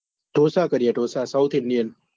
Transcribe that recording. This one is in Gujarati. ઢોસા ઢોસા કરીએ ઢોસા southindian